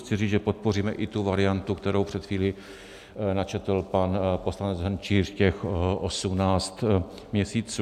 Chci říct, že podpoříme i tu variantu, kterou před chvílí načetl pan poslanec Hrnčíř, těch 18 měsíců.